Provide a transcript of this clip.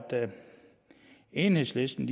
enhedslisten